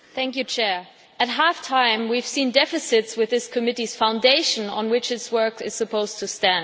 Mr President, at half time we have seen deficits with this committee's foundation on which its work is supposed to stand.